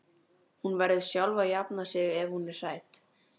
Hún verður sjálf að jafna sig ef hún er hrædd.